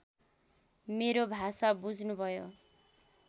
मेरो भाषा बुझ्नुभयो